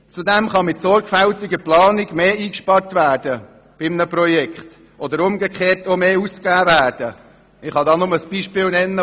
Zudem kann mit sorgfältiger Planung mehr eingespart oder umgekehrt auch mehr ausgegeben werden.